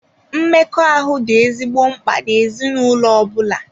Mmekọahụ dị ezigbo mkpa n'ezinụlọ ọ bụla.